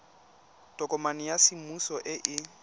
tokomane ya semmuso e e